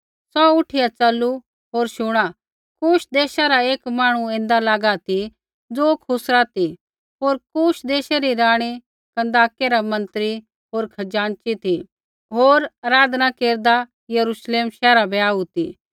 सौ उठिया च़लू होर शुणा कूश देशा रा एक मांहणु ऐन्दा लागा ती ज़ो खुसरा ती होर कूश देशै री राणी कन्दाकै रा मन्त्री होर खजाँची ती होर आराधना केरदा यरूश्लेम शैहरा बै आऊ ती